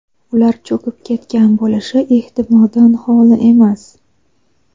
ular cho‘kib ketgan bo‘lishi ehtimoldan xoli emas.